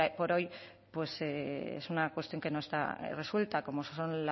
por hoy es una cuestión que no está resuelta como son